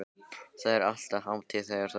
Það er alltaf hátíð þegar þú kemur.